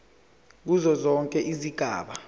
kuzo zonke izigaba